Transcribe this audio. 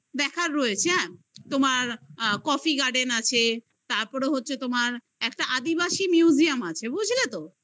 দেখার হয়েছে ওখানে coffee garden আছে তারপরে হচ্ছে তোমার একটা আদিবাসী museum আছে বুঝলে তো